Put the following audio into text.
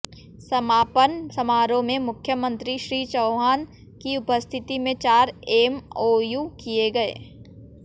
समापन समारोह में मुख्यमंत्री श्री चौहान की उपस्थिति में चार एमओयू किये गये